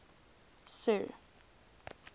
sir